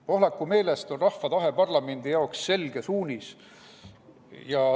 Pohlaku meelest on rahva tahe parlamendi jaoks selge suunis.